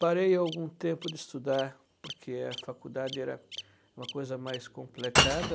Parei algum tempo de estudar, porque a faculdade era uma coisa mais complicada.